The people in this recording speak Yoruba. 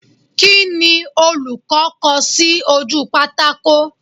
Kíni olùkọ́ kọ sí ojú pátákò?